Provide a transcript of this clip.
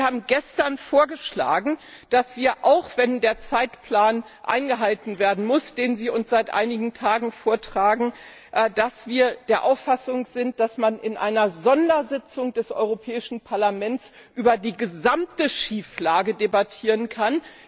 Wir haben gestern vorgeschlagen, dass wir, auch wenn der Zeitplan eingehalten werden muss, den Sie uns seit einigen Tagen vortragen, der Auffassung sind, dass man in einer Sondersitzung des Europäischen Parlaments über die gesamte Schieflage debattieren kann.